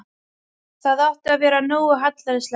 Það átti að vera nógu hallærislegt.